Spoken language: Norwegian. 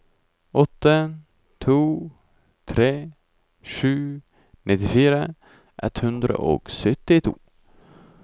åtte to tre sju nittifire ett hundre og syttito